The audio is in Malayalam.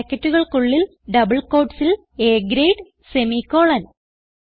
ബ്രാക്കറ്റുകൾക്കുള്ളിൽ ഡബിൾ ക്യൂട്ടീസ് ൽ A ഗ്രേഡ് സെമിക്കോളൻ